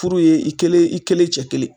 Furu ye i kelen, i kelen, cɛ kelen.